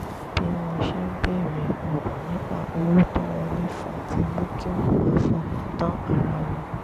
bí wọ́n ṣe ń béèrè ọ̀rọ̀ nípa owó tó ń wọlé fún un ti mú kí wọ́n má fọkàn tán ara wọn